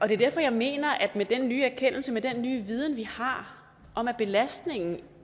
det er derfor jeg mener at med den nye erkendelse med den nye viden vi har om at belastningen